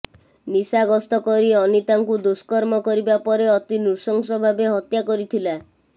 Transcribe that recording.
ନିଶାଗସ୍ତ କରି ଅନିତାଙ୍କୁ ଦୁଷ୍କର୍ମ କରିବା ପରେ ଅତି ନୃଶଂସ ଭାବେ ହତ୍ୟା କରିଥିଲା